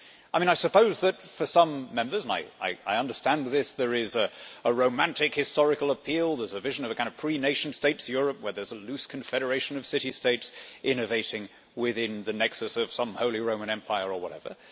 I suppose that for some Members and I understand this there is a romantic historical appeal, a vision of a pre nation states Europe where there is a loose confederation of city states innovating within the nexus of some Holy Roman Empire, or whatever.